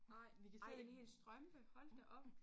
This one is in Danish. Ej ej en hel strømpe hold da op